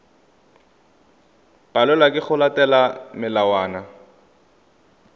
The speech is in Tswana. palelwa ke go latela melawana